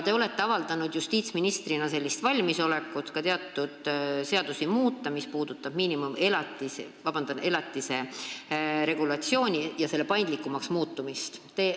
Te olete avaldanud justiitsministrina ka valmisolekut muuta teatud seadusi, mis puudutavad elatise regulatsiooni ja selle korra paindlikumaks muutmist.